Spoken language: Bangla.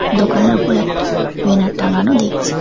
দোকানের উপর একটা বেনার টাঙ্গানো দেখছি।